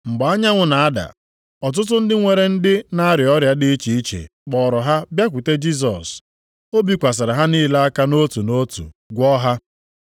Mgbe anyanwụ na-ada, ọtụtụ ndị nwere ndị na-arịa ọrịa dị iche iche kpọọrọ ha bịakwute Jisọs. O bikwasịrị ha niile aka nʼotu nʼotu, gwọọ ha.